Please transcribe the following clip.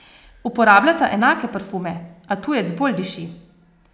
Uporabljata enake parfume, a tujec bolj diši.